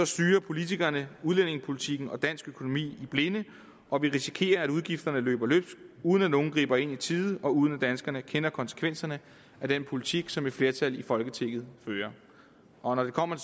styrer politikerne udlændingepolitikken og dansk økonomi i blinde og vi risikerer at udgifterne løber løbsk uden at nogen griber ind i tide og uden at danskerne kender konsekvenserne af den politik som et flertal i folketinget fører og når det kommer